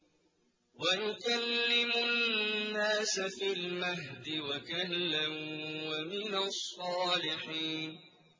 وَيُكَلِّمُ النَّاسَ فِي الْمَهْدِ وَكَهْلًا وَمِنَ الصَّالِحِينَ